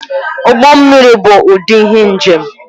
Ụgbọ mmiri bụ ụdị ihe njem